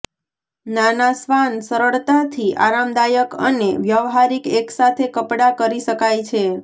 નાના શ્વાન સરળતાથી આરામદાયક અને વ્યવહારિક એકસાથે કપડા કરી શકાય છે